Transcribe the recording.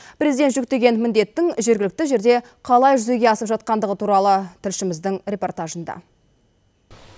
президент жүктеген міндеттің жергілікті жерде қалай жүзеге асып жатқандығы туралы тілшіміздің репортажында